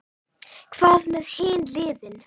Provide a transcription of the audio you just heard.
Hvað með hin liðin?